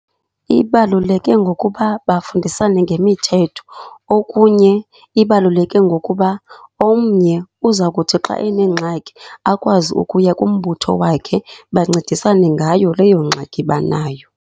Ibaluleke ngokuba bafundisane ngemithetho. Okunye ibaluleke ngokuba omnye uza kuthi xa enengxaki akwazi ukuya kumbutho wakhe, bancedisane ngayo leyo ngxaki banayo.